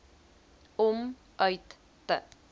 om uit te